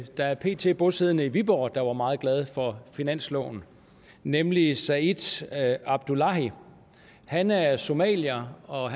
der pt er bosiddende i viborg der var meget glad for finansloven nemlig said abdullahi han er somalier og